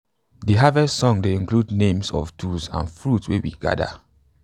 de harvest song dey include names of tools and fruits wey we gather